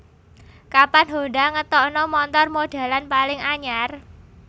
Kapan Honda ngetokno montor modelan paling anyar